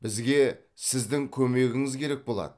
бізге сіздің көмегіңіз керек болады